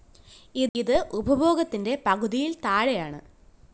ഇത് ഉപഭോഗത്തിന്റെ പകുതിയില്‍ താഴെയാണ്